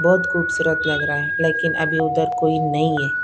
बहुत खूबसूरत लग रहा है लेकिन अभी उधर कोई नहीं है।